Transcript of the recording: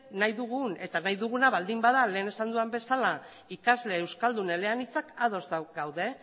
nahi dugun eta nahi duguna baldin bada lehen esan dudan bezala ikasle euskaldun eleanitzak ados gaude